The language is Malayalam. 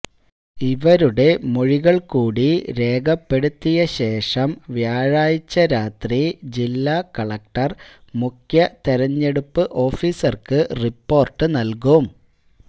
ഇവരുടെ മൊഴികള് കൂടി രേഖപ്പെടുത്തിയശേഷം വ്യാഴാഴ്ച രാത്രി ജില്ലാ കളക്ടര് മുഖ്യ തിരഞ്ഞെടുപ്പ് ഓഫീസര്ക്ക് റിപ്പോര്ട്ട് നല്കും